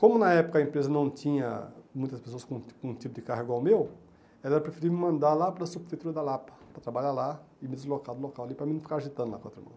Como na época a empresa não tinha muitas pessoas com um com um tipo de carro igual ao meu, ela preferia me mandar lá para a Sub-prefeitura da Lapa, para trabalhar lá e me deslocar do local ali para mim não ficar agitando lá com a outra mão.